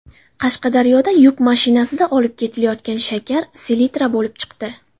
Qashqadaryoda yuk mashinasida olib ketilayotgan shakar selitra bo‘lib chiqdi.